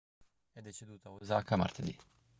è deceduto a osaka martedì